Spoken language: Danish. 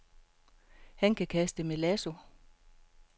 Han kan kaste med lasso.